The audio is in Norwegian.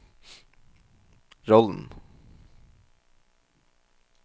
rollen